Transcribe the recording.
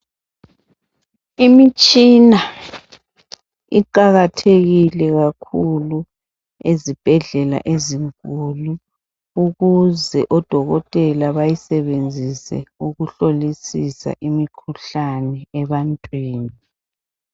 Imitshina iqakathekile kakhulu ezibhedlela ezinkulu ukuze o Dokotela bayisebenzise ukuhlolisisa imikhuhlane ebantwini.